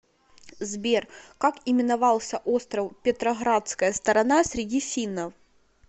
сбер как именовался остров петроградская сторона среди финнов